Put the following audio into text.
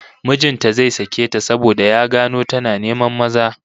Mijin ta zai sake ta saboda ya gano tana neman maza